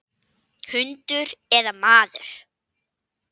Hundur eða maður.